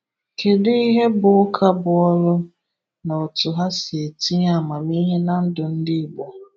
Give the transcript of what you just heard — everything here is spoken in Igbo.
Kedu ihe bụ ụka bu olu na otu ha si etinye amamihe na ndụ ndi Igbo?